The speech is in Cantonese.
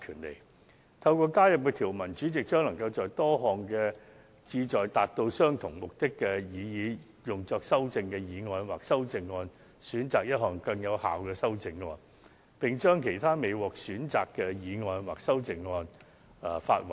藉新增的條文，主席將能在多項旨在達到相同目的的議案或擬議修正案中，選擇最有效的修正，並發還其他不獲選的議案或擬議修正案。